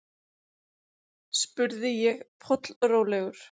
spurði ég, pollrólegur.